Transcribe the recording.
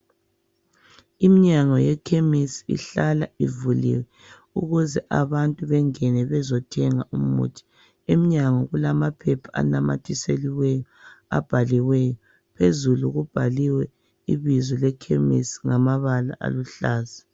Imnyango yekhemisi ihlala ivuliwe ukuze abantu bengene bezothenga umuthi. Emnyango kulamaphepha anamathiseliweyo, abhaliweyo. Phezulu kubhaliwe ibizo lekhemisi ngamabala aluhlaza.